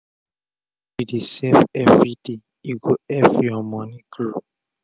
if u dey save every day e go epp ur moni grow